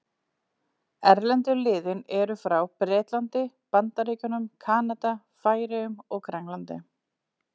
Erlendu liðin eru frá Bretlandi, Bandaríkjunum, Kanada, Færeyjum og Grænlandi.